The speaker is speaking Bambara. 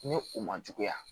Ni u ma juguya